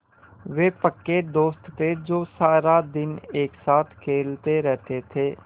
वे पक्के दोस्त थे जो सारा दिन एक साथ खेलते रहते थे